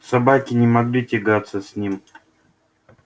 собаки не могли тягаться с ним